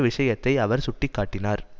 விஷயத்தை அவர் சுட்டி காட்டினார்